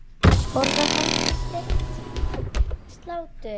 Borðar Helgi steikt slátur?